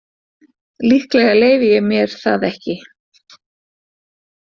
Líklega leyfi ég mér það ekki.